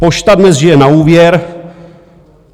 Pošta dnes žije na úvěr.